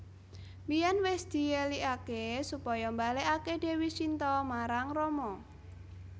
Biyèn wis dièlikaké supaya mbalèkaké Dèwi Sinta marang Rama